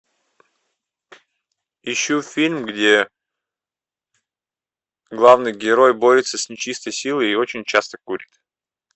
ищу фильм где главный герой борется с нечистой силой и очень часто курит